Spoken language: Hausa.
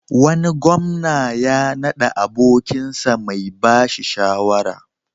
Wani gwamna ya naɗa abokinsa mai ba shi shawara.